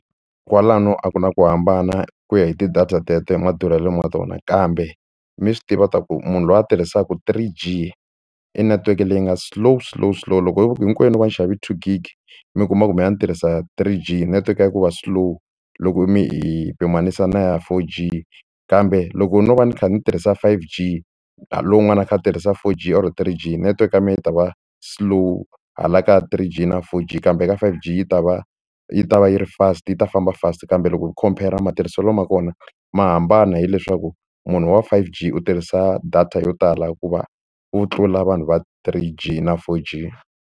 Kwalano a ku na ku hambana ku ya hi ti-data teto hi madurhelo ma tona kambe mi swi tiva ta ku munhu loyi a tirhisaka three G i netiweke leyi nga slow slow slow loko ho hinkwenu no va ni xave two gig mi kuma ku me a ni tirhisa three g network ya ku va slow loko mi hi pimanisa na ya four G kambe loko no va ni kha ni tirhisa five G lowun'wani a kha a tirhisa four G or three G network ya mina yi ta va slow hala ka three G na four G kambe ka five G yi ta va yi ta va yi ri fast yi ta famba fast kambe loko khompera matirhiselo ma kona ma hambana hileswaku munhu wa five G u tirhisa data yo tala hikuva wo tlula vanhu va three G na four G.